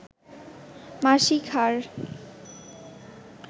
মাসিক হার